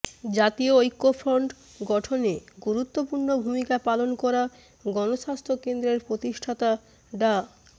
জাতীয় ঐক্যফ্রন্ট গঠনে গুরুত্বপূর্ণ ভূমিকা পালন করা গণস্বাস্থ্য কেন্দ্রের প্রতিষ্ঠাতা ডা